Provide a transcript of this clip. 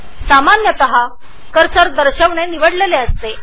सामान्यत show cursor निवडलेला असतो